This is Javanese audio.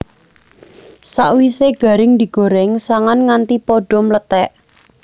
Sakwisé garing digorèng sangan nganti padha mlethèk